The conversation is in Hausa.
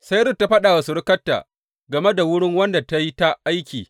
Sai Rut ta faɗa wa surukarta game da wurin wanda ta yi ta aiki.